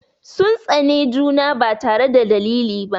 Sun tsane juna ba tare da dalili ba.